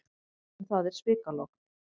En það er svikalogn.